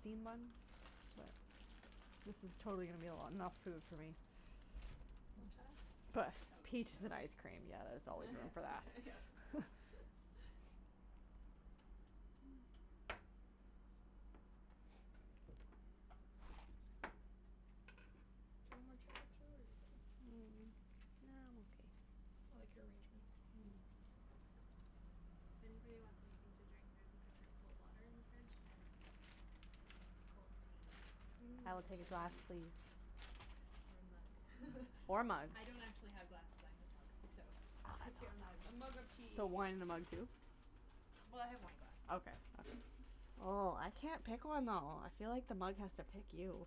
steamed bun, but this is totally going to be a lo 'nough food for me Want cheddar? I had But, toast so peaches and ice cream yeah there's always room for that. That's good. Do you want more cheddar too or you okay? Mm, nah I'm okay. I like your arrangement. Mm Anybody wants anything to drink there's a pitcher of cold water in the fridge and some cold tea. Mmm I will take a glass tea please. Or a mug Or mug I don't actually have glasses I have mugs, so, Oh, that's pick your mug. A awesome. mug of tea So wine in a mug too? Well I have wine glasses. Okay Oh I can't pick one though. I feel like the mug has to pick you.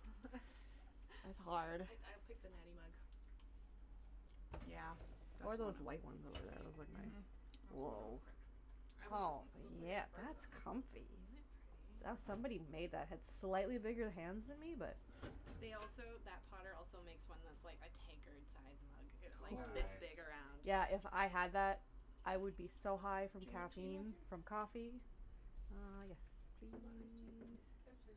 It's hard. I I'd pick the Natty mug Yeah. Or one That's the of one those I'm white ones. Those look mhm nice. I'd want this Oh one cuz it looks like it yeah has birds on that's it comfy. Isn't That it pretty? somebody made that had slightly bigger hands than me but They also that potter also makes one that's like a tankard size mug, it's like Ooo this Nice! big around Yeah if I had that I would be so high from Do you want tea caffeine Matthew? from coffee Uh, yes You want iced tea? please Yes please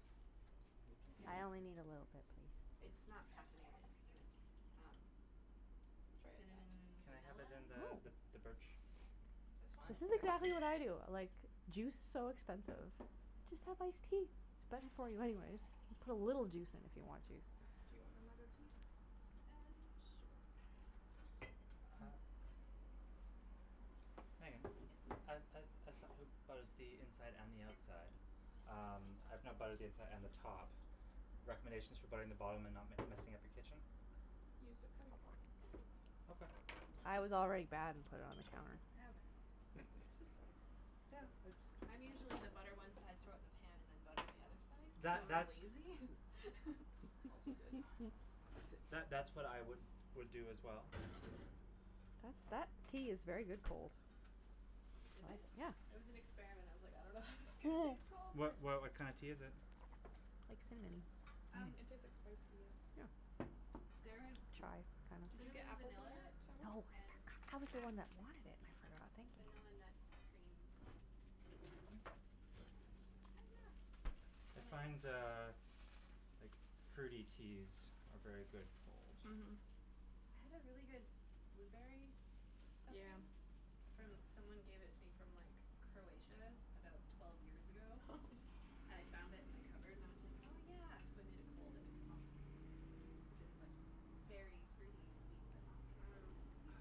You too? I only need a little bit please. It's not caffeinated and it's um Try it that cinnamon Can I have vanilla? it in the th the birch This one? Yes This is yes exactly what I please do. Like, juice's so expensive. Just have iced tea, it's better for you anyways, you put a little juice in if you want juice Do you want a mug of tea? Um, sure Okay Uh Meagan, Yes as as as som who butters the inside and the outside, um, I've now buttered the inside and the top, recommendations for buttering the bottom and not m messing up your kitchen? Use the cutting board Okay I was already bad and put it on the counter. Eh whatever Just butter Yeah I jus I'm usually the butter one side throw it in the pan and then butter the other side That cuz I'm that's lazy. Also good See that that's what I would would do as well. That Um tea is very good cold. Is it? Yeah It was an experiment, I was like, I don't know how this is gonna taste cold What but why what kinda tea is it? Like cinamonny Um It Hmm tastes like spice tea, yeah Yeah There is Chai kinda Did you get cinnamon, apples on vanilla your sandwich? No, and I was the ah one that wanted it, I forgot thank you vanilla nut cream This is hard to flip, the sandwich, I find hiyah! uh like fruity teas are very good cold. Mhm Mhm I had a really good blueberry something Yeah from someone gave it to me from like Croatia about twelve years ago I found it in the cupboard and I was like "oh yeah" so I made it cold and it was awesome, cuz it was like berry fruity sweet but not like Mmm overly sweet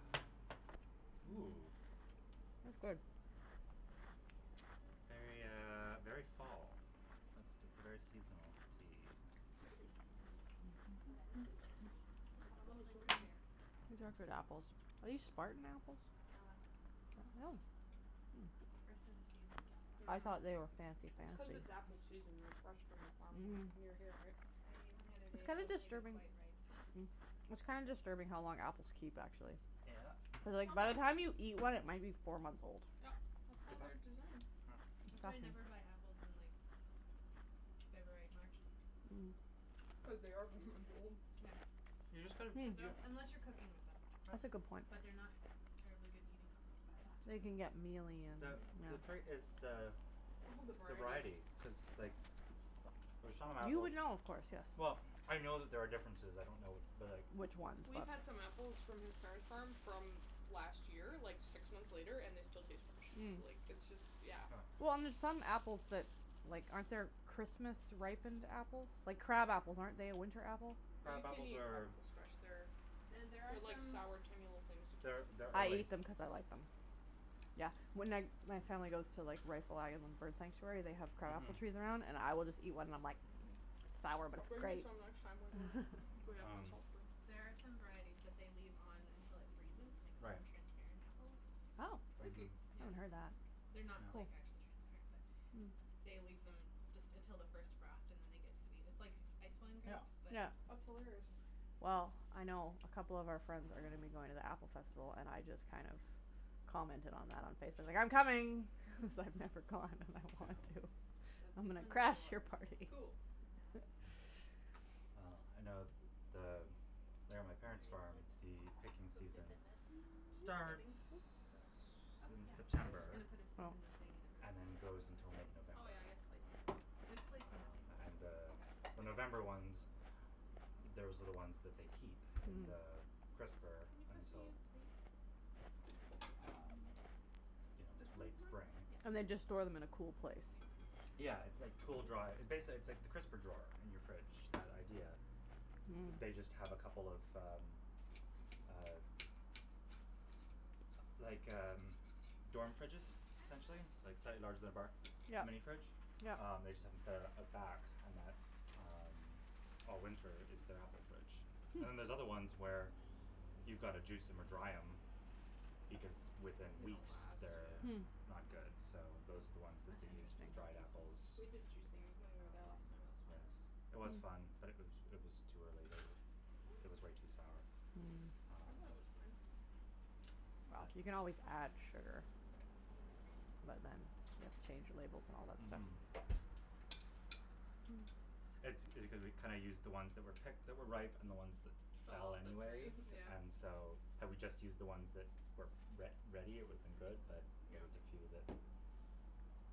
Ooh That's good. Very uh very fall, it's it's a very seasonal tea. Hm Oh that is good. This It's apple almost is so like root good. beer. These are good apples, are these spartan apples? Gala Hm First of the season gala I Mhm thought they were fancy It's cuz fancy. it's apple season and they're fresh from the farm, like, mhm near here right? I ate one the other day It's and it kinda wasn't even disturbing quite ripe. it's kinda disturbing how long apples keep actually. Yep Cuz like Some by the time you apples eat one it might be four months old. Yep, that's how they're designed. That's why I never buy apples in like February March Mm Cuz they are four months old. Yeah You just gotta, hm Because they're yeah als- unless you're cooking with them That's a Yep good point. But they're not terribly good eating apples by that They time. can get mealy and The Mhm the yeah trait is the All the the variety variety cuz like, f for some You apples, would know of course yes well, I know that there are differences I don't know but like Which ones We've but had some apples from his parents' farm from last year, like six months later, and they still taste fresh Mm like it's just, yeah Well and there's some apples that like, aren't there Christmas ripened apples, like crab apples, aren't they a winter apple? Well you Crab can't apples eat crab are apples fresh, they're, And there are they're like some sour tiny little things, you can't They're eat them they're I fresh. ate them cuz I like them. Yeah when I my family goes to like Reifel Island Bird Sanctuary they have crab Mhm apples trees around and I will just eat one and I'm like Sour but I'll it's bring you great! some next time we go, if we have Um There are some varieties that they leave on until it freezes and they call Right them transparent apples. Oh, Freaky Mhm Yeah haven't heard that. They're not Cool like, Yeah actually transparent but They leave them just until the first frost and then they get sweet, it's like ice wine Yeah grapes but Yeah apple That's hilarious Mm Well Mm I know a couple of our friends are going to be going to the apple festival and I just kind of commented on that on Facebook li "I'm coming!" Cuz I've never gone and I want to. Yeah So I'm this gonna one is crash you're yours. party! Cool That one's Mm mine. well I know th the there on my Why parent's farm don't you the picking put, some season dip in this, for starts dipping, is that okay? Oh in yeah, I was September just gonna put a spoon in the thing and and everyone can then just throw goes it on their until mid plate but Oh November. yeah I guess plates too There's plates on the Um table. and the Okay the November ones, those are the ones that they keep in the crisper Can you pass me until a plate? Um you know This one's late mine? Spring Oh mhm Yeah And they just store them in a cool place? I can Yeah it's like cool dry, basically it it's like the crisper drawer in your fridge, that idea They just have a couple of um Mm uh Like um, dorm fridges essentially like a bar, a Yep mini fridge, yep um they just have them set up at the back and that all winter is their apple fridge And then there's Hm other ones where, you've gotta juice em or dry em because within They don''t weeks last, they're yeah Hm not good, so those are the ones that they use for the dried apples. We did juicing when we were there Um last time, it was fun yes, it was fun but it was it was too early they were it was Whoops! way too sour, Mm I thought That it um was was too bad fine. But You can always add sugar. But then you have to change your labels and all that stuff Mhm That's because we kinda used the ones that were picked that were ripe and the ones that Fell fell off the tree, anyways yeah and so, had we just used the ones that were re ready it would have been good but there Yep was a few that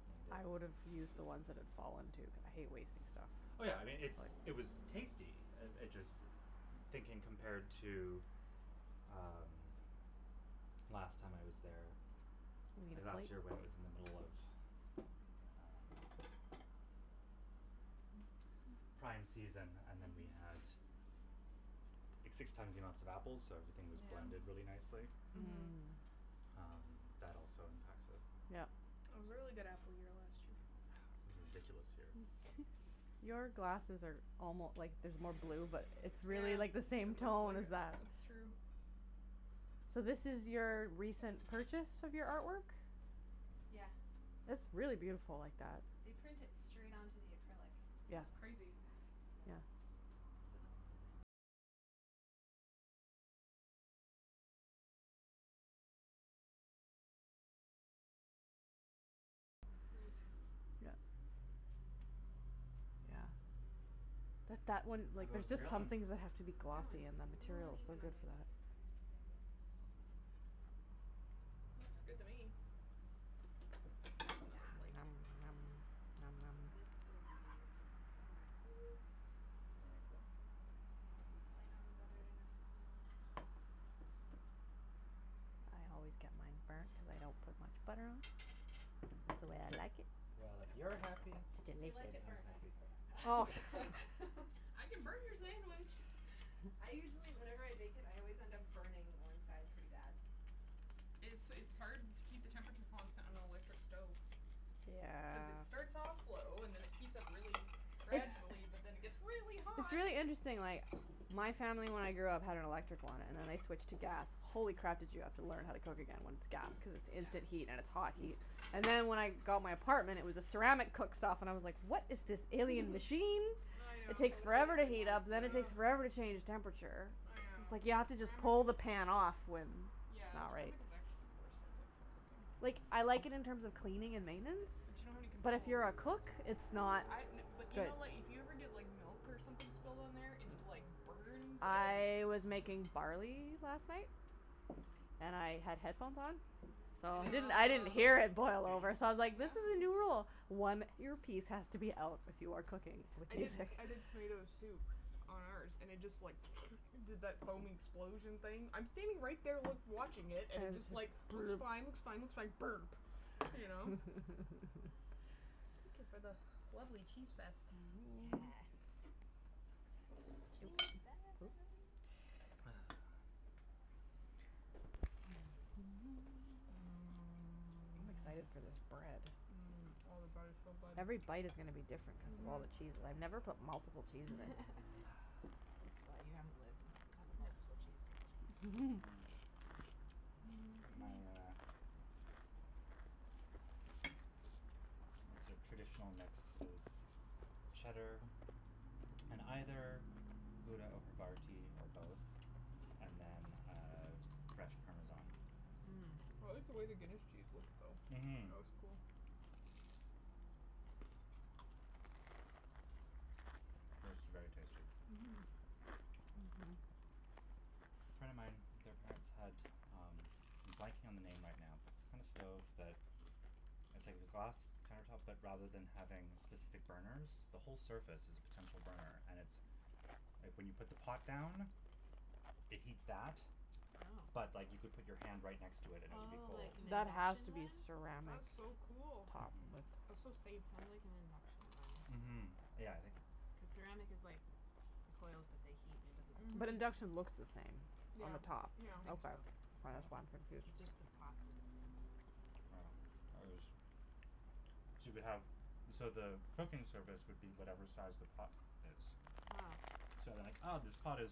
ruined I it. would've use the ones that had fallen too cuz I hate wasting stuff. Oh yeah I mean, it's it was tasty, uh it just thinking compared to um, last time I was there, or last year when it was in the middle of um Prime season and then we Mhm had six times the amount of apples so everything was blended really nicely. Mhm Mhm Um that also impacts it. Yep It was a really good apple year last year Was a ridiculous year Your glasses are almo like there's more blue but it's Ah, really it like the looks same tone as like, that that's true So this is your recent purchase of your artwork? Yeah It's really beautiful like that. They print it straight onto the acrylic. Yeah That's crazy. yeah Nice Yep Yeah But that one How like there's goes the just some grilling? things that have to be It's going. glossy and It's that a little material is so uneven on good for these that. ones, I have to say but Oh It's Looks good okay. to me! Those are done. Another Hiyah! plate So this will be Matthew's! And this is light on the butter enough for you I always get mine burnt cuz I don't put much butter on That's the way I like it. Well if you're happy It's If you delicious. then like it I'm burnt I can happy. throw it back on. I can burn your sandwich! I usually whenever I bake it I always end up burning one side pretty bad It's it's hard to keep the temperature constant on an electric stove. Cuz it Yeah starts off low, and then it heats up really It's Yeah gradually but then it gets really it's hot! really interesting like my family when I grew up had an electric one and then I switched to gas, holy crap did you have to learn how to cook again when it's gas cuz it's instant heat and it's hot heat And then when I got my apartment it was a ceramic cooktop and I was like "what is this alien machine?" I It know, takes Totally forever to different heat up then it monster ugh, takes forever to change temperature. I Just know like you have to just Ceramic pull is, the pan off whe it's yeah not right ceramic is actually the worst I think for cooking. Like I like it in terms We of could cleaning probably and fit the maintenance veggie thing But you don't on have any the but control if table. you're a cook, it's not Good Yeah but do idea. you good know like, if you ever get like milk or something spilled on there its like burns and I was sti making barley last night. And I had headphones on, so And it didn't I didn't hear it boil Oh! over so I was like "this Yeah is a new rule, one earpiece has to be out when you are cooking with I did music". I did tomato soup on ours and it just like did that foam explosion thing, I'm standing right there loo watching it and it just like, looks fine looks fine looks fine...burp! You know? Thank you for the lovely cheese fest. Yeah Yeah Cheese fest! Mmm I'm excited Mmm for this bread. mmm, oh the bread is so good, Every bite is gonna to be different cuz of all mhm the cheese. I've never put multiple cheeses in. Ahh Well you haven't lived until you've had a multiple cheese grilled cheese. Mhm My uh Yes My sorta traditional mix is cheddar and either grouda or I havarti or both and then uh fresh parmesan. like the way the Guinness cheese looks though, it Mhm looks cool. mhm This is very tasty. Mhm A friend of mine, their parents had, um, I'm blanking on the name right now but it's the kinda stove that, it's like the glass counter tops but rather than having specific burners, the whole surface is a potential burner and it's like when you put the pot down, it heats that oh but like you could put your hand right next to it and it would be Oh, like cold. an That has induction to be one? ceramic That's so cool! top Mhm. That's so safe. It sound like an induction one, Mhm, yeah, I think cuz ceramic is like, the coils but they heat and it doesn't But Mhm. I think induction so. looks the same Yeah, on the top? yeah. Okay, k that's why I'm confused. It's just the path are different. Oh. Yeah. Yeah, it was so you could have, so the cooking surface would be whatever size the pot is. So then like ah, this pot is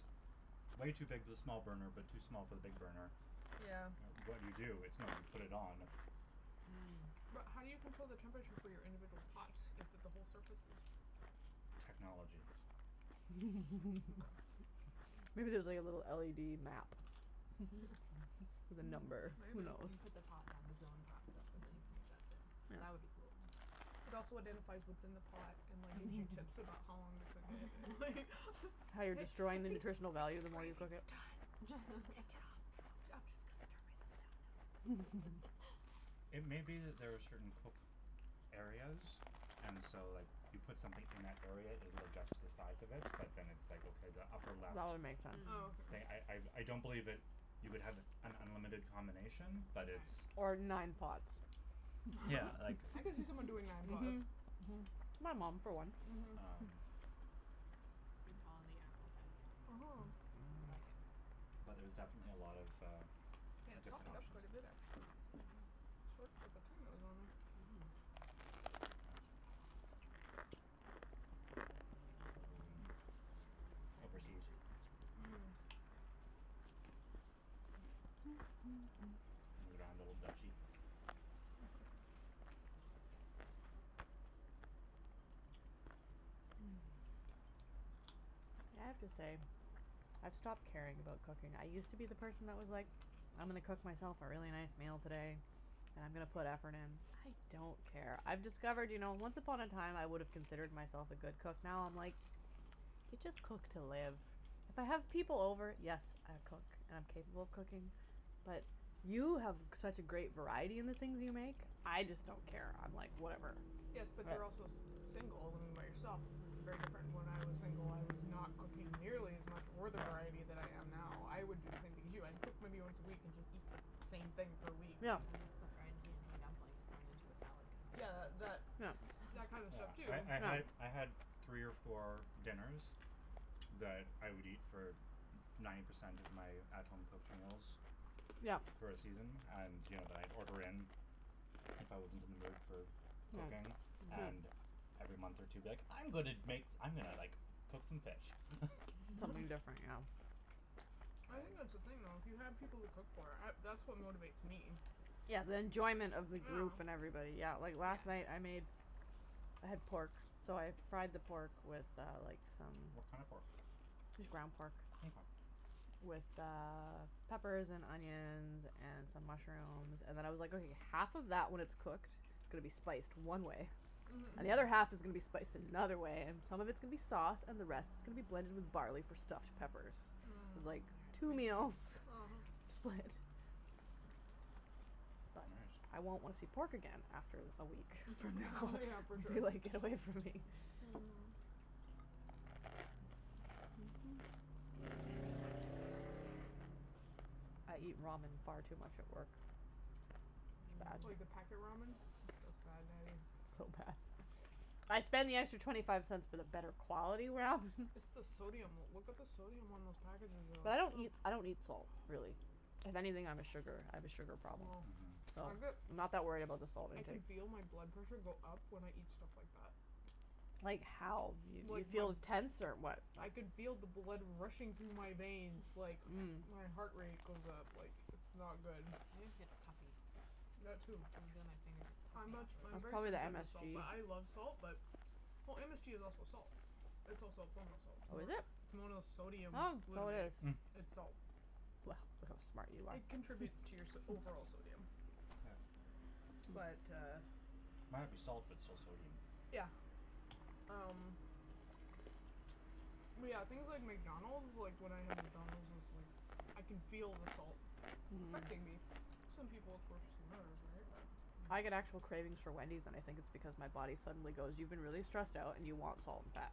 way too big for the small burner but too small for the big burner, Yeah. what do you do? It's no, you put it on. Mm. But how do you control the temperature for your individual pots, if at the whole surface is Technology. Okay. Maybe there's like a little LED map with a Hmm. number. Maybe. Who knows? You put the pot down, the zone pops up and then you put your in. That would be cool. It also identifies what's in the pot, and like gives you tips about how long to cook it, and, like Yeah. like, "I How you're think, I destroying the think your nutritional value the more you gravy cook is it. done, just, take it off now, b- I'm just gonna turn myself down now, if that's okay." It may be that there are certain cook areas and so like, you put something in that area it will adjust to the size of it, but then it's like, okay the upper left. That would make sense. Oh But I, I, okay. I don't believe that you would have an unlimited combination, but it's Or nine pots. Yeah, like I can see someone doing nine pots. Mhm. Mhm. My mom, for one. Um Good call on the apple by the way. Mhm. Mhm. I like it. But there's definitely a lot of, uh, Yeah, it different softened up options. quite a bit actually Yes. considering how short of a time it was on there. Mhm. This was in overseas. Mm. In the Grand Old Duchy. I have to say, I've stopped caring about cooking. I used to be the person that was like, "I'm gonna cook myself a really nice meal today, and I'm gonna put effort in." I don't care. I've discovered you know, once upon a time I would've considered myself a good cook now I'm like, you just cook to live. If I have people over, yes, I cook, and I'm capable of cooking, but you have such a great variety in the things you make. I just don't care, I'm like, "Whatever." Yes Yeah. but they're also s- single, when you're by yourself it's very different. When I was single I was not cooking nearly as much or the variety that I am now. I would do the Yeah. same thing as you. I've cooked many once a week and just eat the same Yeah. thing for a week. I miss the fried T&T dumplings thrown Yeah. into a salad compressor. Yeah, that that kind of stuff too. Yeah, I'm sure I I had, I had, three or four Yeah. dinners, that I would eat for n- ninety percent of my at home cooked meals, Yeah. for a season, and, you know, that I'd order in. Yep. If I wasn't in the mood for cooking, and every month or two be like, "I'm gonna Yeah. make s- , I'm gonna like, cook some fish." Um Something different, Mhm. I think that's the thing though, if you had people to cook for, I, that's what motivates me. yeah. Yeah, the enjoyment of the group and Yeah. everybody. Yeah, like last night I made I had pork, so I fried the pork with uh like, some What kinda pork? Just ground pork Mkay. with uh, peppers and onions and some mushrooms and then I was like, okay half of that when it's cooked is gonna be spiced one way And Mhm. the other half is gonna be spiced in another way, and Mhm. some of it's gonna be sauce, and the rest is gonna be blended with barley for stuffed peppers. Mm. Like, two meals. Split. Right. But I won't wanna see pork again after a week, from now Yeah, for sure. be like, "Get away from me." Nice. Mhm. I eat ramen far too much at work. Yeah. Like the packet ramen? That's It's bad, Natty. bad. So Mm. bad. I spend the extra twenty five cents for the better quality ramen. It's the sodium, look at the sodium on those packages though. But I It's don't so eat, I don't eat salt, really. If anything, I'm a sugar, I have a sugar problem. Oh. So, I I'm bet not that worried about the salt I can intake. feel my blood pressure go up when I eat stuff like that. Like Like, Mhm. how? You, you the, feel tense or what? I can feel the blood rushing through my veins, like, my heart rate goes up, like, it's not good. I just get puffy. I That too. I'm puffy much, Mm. I'm That's afterwards. very probably the sensitive to salt MSG. but I love salt. But, well MSG is also salt. It's also a form of salt. It's Oh is mo- it? it's Oh, so monosodium glutamate. it is. Mm. It's Well, salt. look how smart you are. It contributes to your so- overall sodium. Yes. But uh Might be salt, but it's still sodium. Yeah. Um yeah, things like McDonald's, like when I have McDonald's, it's like, I can feel the salt, affecting me. Some people it's worse than others, right? Mm. I get Mm. actual cravings for Wendy's and I think it's because my body suddenly goes, "You've been really stressed out and you want salt and fat."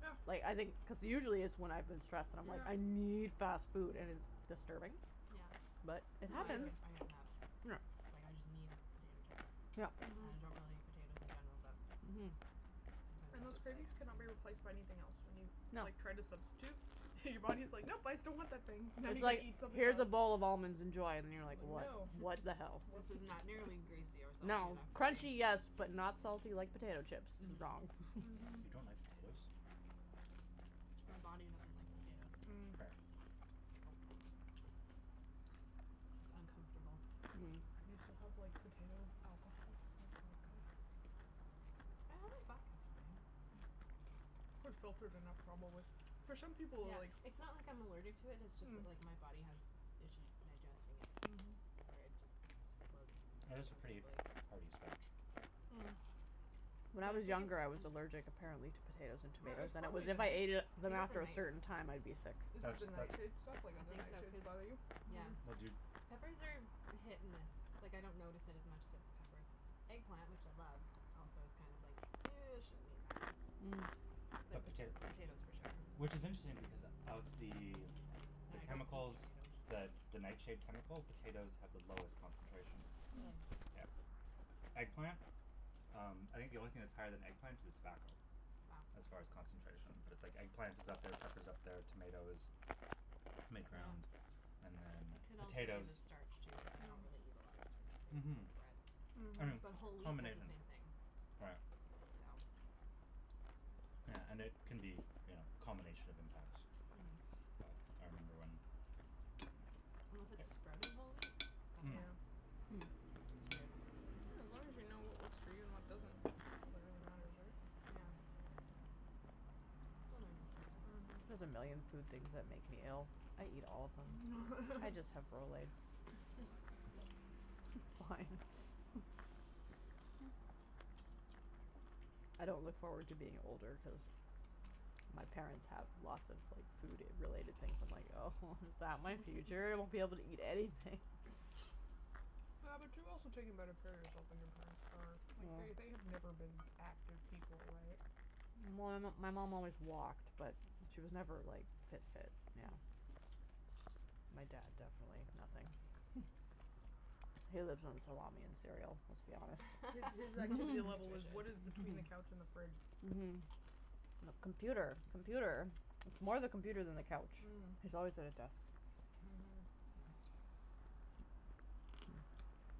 Yeah. Like, I think cuz usually it's when I've been stressed and I'm like, Yeah. "I need fast food," and it's disturbing? Mm. Yeah, But it yeah I happens. get I get mad. Yeah. Like, I just need potato Yep. chips, and Mhm. I don't really eat potatoes in general, but Mhm. And Sometimes those it's just cravings cannot like be replaced by anything else, when you, No. like, try to substitute and your body's like, "Nope! I still want that thing." "Now you It's gotta like, eat something "Here's a else." bowl of almonds, enjoy." And you're like, "What? No. What the hell?" "This is not nearly greasy or salty No. enough for Crunchy, me." Mhm. yes, but not salty like potato chips. It's wrong. Mhm. You don't like potatoes? My body doesn't like potatoes. Mm. Fair. Oh. It's uncomfortable. You still have like potato alcohol? Like vodka? I have a vodka Those too you're gonna have trouble with. For some people, Yeah, like It's not like I'm allergic to it, it's just that Mm. like my body has issues digesting it. Mhm. Where it just bloats Potatoes are pretty uncomfortably. hearty starch. Mm. When I But I was think it's younger, I was allergic apparently to potatoes and Or tomatoes it's and it was probably if I ate it I then think it's a after a night certain time I'd be sick. Is it That's the that nightshade stuff? Like I other think so, nightshades cuz, bother you? yeah. But Mhm. do Peppers are hit and miss, like I don't notice it as much if it's peppers. Eggplant, which I love, also is kind of like, ew I shouldn't eat that. you But potato Potatoes for sure. Which is interesting because of the the I chemicals, the don't the nightshade eat chemical? Potatoes have the potatoes. lowest concentration. Mm. Really? Yeah. Eggplant? Um, I think the only thing that's higher than eggplant is tobacco. Wow. As far as concentration, but it's like eggplant is up there, pepper's up there, tomatoes, mid-ground, and then It could also be the potatoes. starch too, cuz I con't really Mm. eat a lot of starchy things Mhm. except bread, Mhm. but whole wheat does the Combination. same thing. Right. So. Yeah, and it Tristan. can be you know, a combination of impacts. Mhm. But I remember when Unless it's sprouting whole wheat? That's Mm. fine. It's weird. Yeah, as long as you know what works for you and what doesn't. That's all that really matters, right? Yeah. It's a learning process. Mhm. There's a million food things that make me ill. I eat all of them. I just have Rolaids. Why? I don't look forward to being older cuz my parents have lots of like, food related things, and like oh Is that my future? I won't be able to eat anything. Yeah but you've also taken better care of yourself than your parents are, like, they they have never been active people, right? Well Well my my mom always walked, but she was never like fit fit, yeah. Mm. My dad definitely, nothing. He lives on salami and cereal, let's be honest. His his activity level was what Nutritious. is between the couch and the fridge. Mhm. Mhm. Mhm. Computer, Mhm. computer, it's more the computer than the couch. Mm. He's always at his desk. Mhm. Mhm.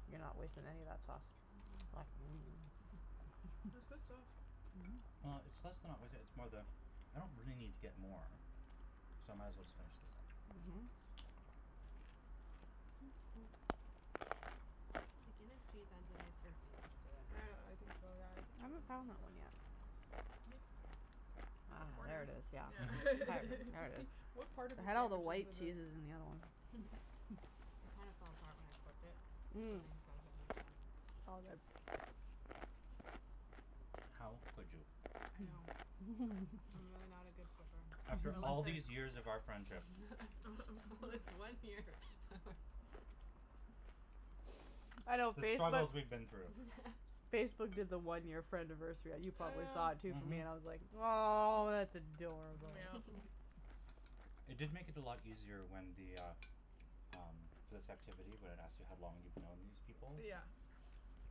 You're not wasting any of that sauce. That's good sauce. Well, it's less than not wasting it, it's more the I don't really need to get more, so I might as well just finish this up. Mhm. The Guinness cheese has a nice earthiness to it. I know, I think so, yeah I think I haven't found that one yet. It looks burnt. I got a Ah, there corner. it is. Yeah. All Yeah. Mhm. right, there it Just i see, s. what part of the I had all the sandwich is white with a cheeses in the other one. It kinda fell apart when I flipped it? Mm. Mm. Flippings got a bit mixed up. All good. How could you? I know. I'm really not a good flipper. After all these years of our friendship. This one year. I know The struggles Facebook's we've been through. Facebook did the one year friendiversary you probably saw it Yeah. too for me, Mhm. and I was like, "Aw, that's adorable." Mm yeah. It did make it a lot easier when the, ah, um, this activity when it asks you how long you've known these people? Yeah.